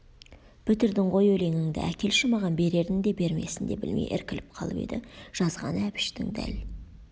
бітірдің ғой өлеңіңді әкелші мағаш берерін де бермесін де білмей іркіліп қалып еді жазғаны әбіштің дәл